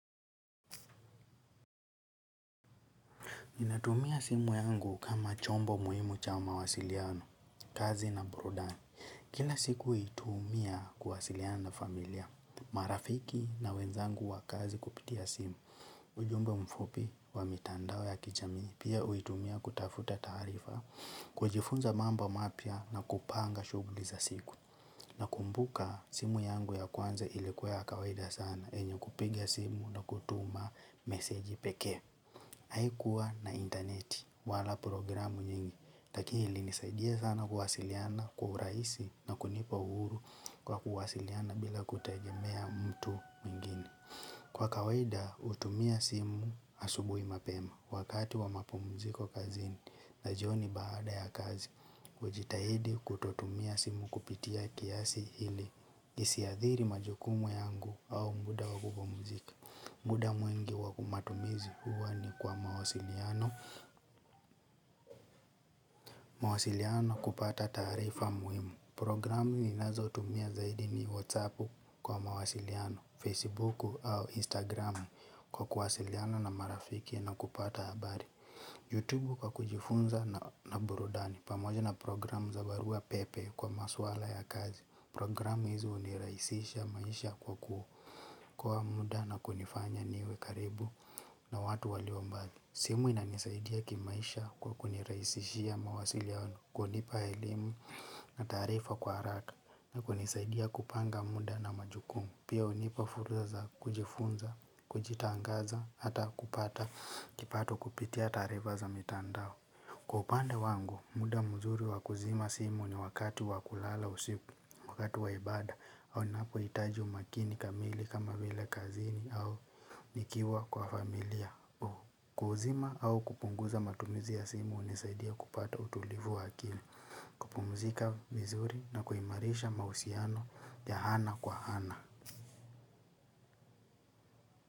Ninatumia simu yangu kama chombo muhimu cha mawasiliano, kazi na burudani. Kila siku huitumia kuwasiliana na familia. Marafiki na wenzangu wa kazi kupitia simu. Ujumbe mfupi wa mitandao ya kijamii. Pia uitumia kutafuta taarifa, kujifunza mambo mapia na kupanga shughuliza siku. Nakumbuka simu yangu ya kwanza ilikuwa ya kawaida sana yenye kupiga simu na kutuma meseji pekee. Haikuwa na interneti wala programu nyingi, lakini ili nisaidia sana kuwasiliana kwa uraisi na kunipa uhuru kwa kuwasiliana bila kutejemea mtu mwingine. Kwa kawaida utumia simu asubui mapema wakati wa mapumuziko kazini na jioni baada ya kazi. Ujitahidi kutotumia simu kupitia kiasi hili isiadhiri majukumu yangu au muda wa kupumuzika. Muda mwingi wakumatumizi huwa ni kwa mawasiliano, mawasiliano kupata taarifa muhimu. Programu ni nazo tumia zaidi ni whatsappu kwa mawasiliano, facebooku au instagramu kwa kuwasiliano na marafiki na kupata habari Youtube kwa kujifunza na burudani, pamoja na programu za barua pepe kwa maswala ya kazi. Programu hizi uniraisisha maisha kwa kuokoa muda na kunifanya niwe karibu na watu waliombali. Simu ina nisaidia kimaisha kwa kuniraisishia mawasiliano, kunipa elimu na taarifa kwa haraka, na kunisaidia kupanga muda na majukumu, pia unipa fursa za za kujifunza, kujitangaza, hata kupata, kipato kupitia taarifa za mitandao. Kwa upande wangu, muda mzuri wakuzima simu ni wakati wakulala usiku, wakati waibada, au ninapo itaji umakini kamili kama vile kazini au nikiwa kwa familia. Ku kuuzima au kupunguza matumizi ya simu unisaidia kupata utulivu wa akili. Kupumzika vizuri na kuimarisha mahusiano ya hana kwa hana.